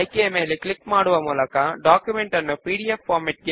ఇప్పుడు చివరి స్టెప్ కు వెళదాము